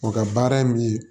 O ka baara ye min ye